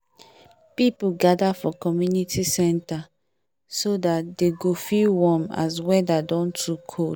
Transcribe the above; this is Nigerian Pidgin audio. people gather for community center so that dey go feel warm as weather don too cold